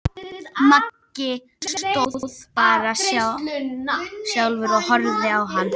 Maggi stóð bara stjarfur og horfði á hann.